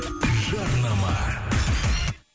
жарнама